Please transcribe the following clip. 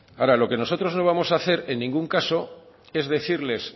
ahora lo que nosotros no vamos a hacer en ningún caso es decirles